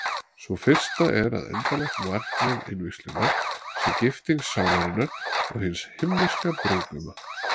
Sú fyrsta er að endanlegt markmið innvígslunnar sé gifting sálarinnar og hins Himneska brúðguma.